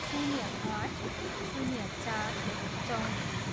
शून्य आठ, शून्य चार, चौँतिस